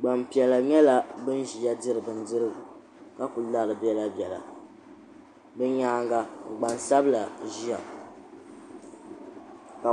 gbampiɛla nyɛla ban ʒia diri bindirigu kakuli lari biɛla biɛla bɛ nyaanga gbansabla ʒia ka